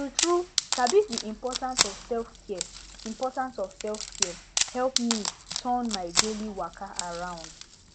true true sabi di importance of selfcare importance of selfcare help me turn my daily waka around